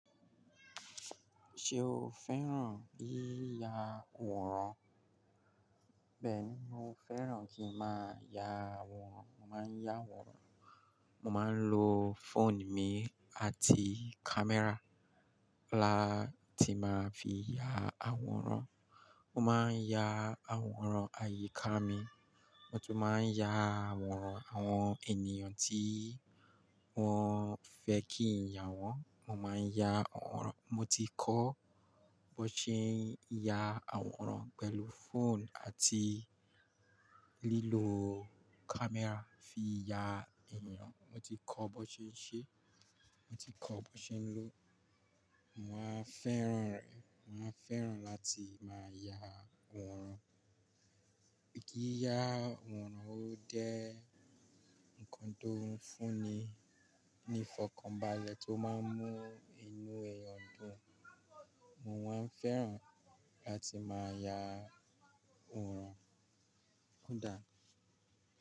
Ṣé o fẹ́ràn yíya wòrán? Bẹ́ẹ̀ni, mo fẹ́ràn kí ń má ya àwòrán. Mo máa ń ya àwòrán. Mo máa ń lo phone mi àti camera la tí máa fi ya àwòrán. Mo máa ń ya àwòrán àyíká mi, mo tún máa ń ya àwòrán àwọn ènìyàn tí wọ́n fẹ́ kí ń ya wọ́n. Mo máa ń ya àwòrán. Mo ti kọ́ bó ṣe ń ya àwòrán pẹ̀lú phone àti lílo camera fi ya èeyàn. Mo ti kọ́ bó ṣe ń ṣe, mo ti kọ́ bó ṣe ń lò. Mo máa ń fẹ́ràn rẹ̀. Mo máa ń fẹ́ràn láti máa ya àwòrán. Yí ya àwòrán ó jé ǹnkan tó ń fún ni ní fọkànbalẹ̀ tó máa ń mú inú ẹeyan dùn. Mo máa ń fẹ́ràn láti máa ya wòrán. Ó dáa.